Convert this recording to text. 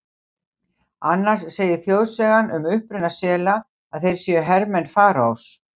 Annars segir þjóðsagan um uppruna sela að þeir séu hermenn Faraós.